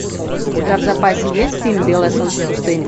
у тебя в запасе есть фильм белое солнце пустыни